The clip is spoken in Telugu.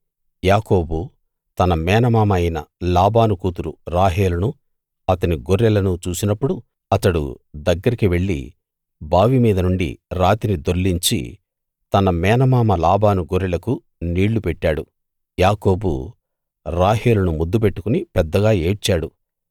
యాకోబు తన మేనమామ అయిన లాబాను కూతురు రాహేలును అతని గొర్రెలను చూసినప్పుడు అతడు దగ్గరికి వెళ్ళి బావి మీద నుండి రాతిని దొర్లించి తన మేనమామ లాబాను గొర్రెలకు నీళ్ళు పెట్టాడు యాకోబు రాహేలును ముద్దు పెట్టుకుని పెద్దగా ఏడ్చాడు